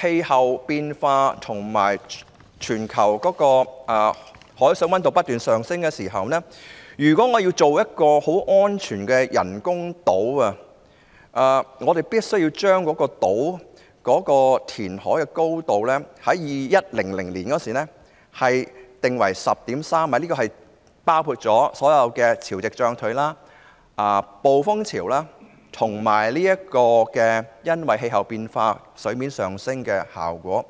氣候變化及全球海上溫度不斷上升，要建造一個很安全的人工島，人工島的填海高度在2100年必須訂為 10.3 米，這個標準已考慮到潮汐漲退、暴風潮及水面因氣溫變化而上升的情況。